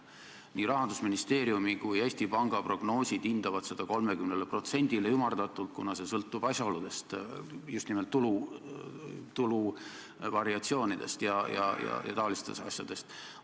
Nii Rahandusministeeriumi kui ka Eesti Panga prognoosid hindavad seda ümardatult 30%-le, kuna see sõltub asjaoludest – just nimelt tulu variatsioonidest ja muudest taolistest asjadest.